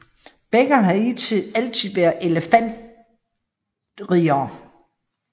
Begge har hidtil altid været elefantriddere